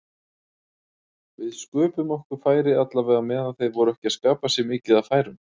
Við sköpuðum okkur færi allavega meðan þeir voru ekki að skapa sér mikið af færum.